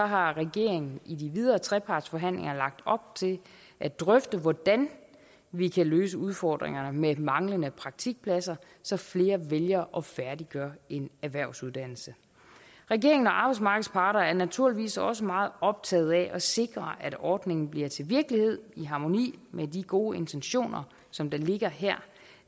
har regeringen i de videre trepartsforhandlinger lagt op til at drøfte hvordan vi kan løse udfordringerne med manglende praktikpladser så flere vælger at færdiggøre en erhvervsuddannelse regeringen og arbejdsmarkedets parter er naturligvis også meget optaget af at sikre at ordningen bliver til virkelighed i harmoni med de gode intentioner som der ligger her